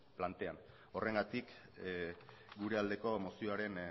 plantean horregatik gure aldeko mozioaren